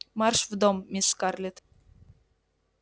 марш в дом мисс скарлетт